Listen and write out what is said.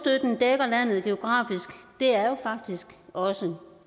at geografisk er jo faktisk også